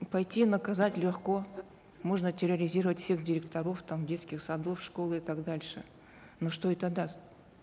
пойти наказать легко можно терроризировать всех директоров там детских садов школ и так дальше но что это даст